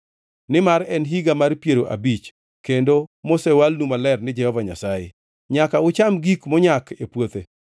Nimar en higa mar piero abich, kendo mosewalnu maler ni Jehova Nyasaye, nyaka ucham gik monyak e puothe.